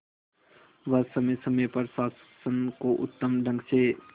वह समय समय पर शासन को उत्तम ढंग से